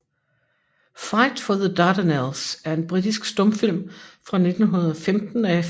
Fight for the Dardanelles er en britisk stumfilm fra 1915 af F